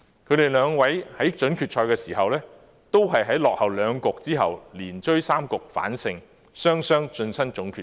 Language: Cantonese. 他們兩位在準決賽時，同在落後兩局之後，連追三局反勝對手，雙雙晉身總決賽。